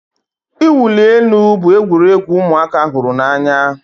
Ị wuli elu bụ egwuregwu ụmụaka hụrụ n'anya